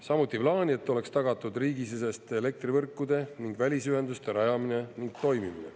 Samuti plaani, et oleks tagatud riigisiseste elektrivõrkude ning välisühenduste rajamine ning toimimine.